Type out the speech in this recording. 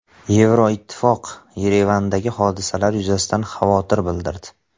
Yevroittifoq Yerevandagi hodisalar yuzasidan xavotir bildirdi.